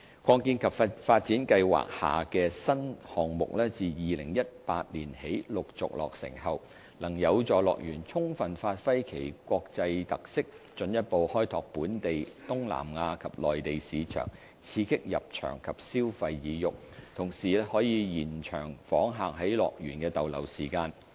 擴建及發展計劃下的新項目自2018年起陸續落成後，能有助樂園充分發揮其國際特色，進一步開拓本地、東南亞及內地市場，刺激入場及消費意欲，同時延長訪客在樂園的逗留時間。